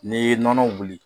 N'i ye nɔnɔ wuli